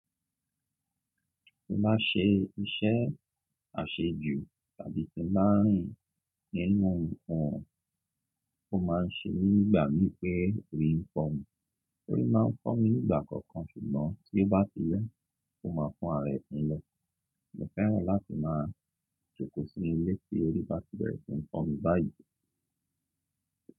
Ti mo bá se iṣẹ́ àṣejù tàbí ti ma rìn nínú ohun tó máa ń ṣe nígbà ní pé orí ń fọ́ mi, orí máa ń fọ́ mi nígbà kọ̀ọ̀kan, ṣùgbọ́n tí ó bá ti yọ́, ó máa fún ààrẹ mi lọ. Mo fẹ́ràn láti máa jókòó sí ilé tí orí bá ti bẹ̀rẹ̀ sí nií fọ́ mi báyìí.